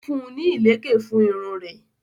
o fún ní ìlèkè fún Irun rè.